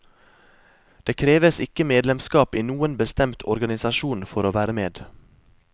Det kreves ikke medlemskap i noen bestemt organisasjon for å være med.